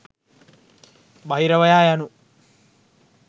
බහිරවයා යනු